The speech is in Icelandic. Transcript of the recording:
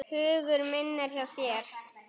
Hugur minn er hjá þér.